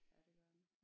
Ja det gør den